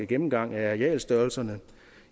gennemgangen af arealstørrelserne